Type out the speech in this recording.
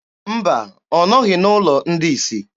Mba, ọ nọghị n'ụlọ ndị isi.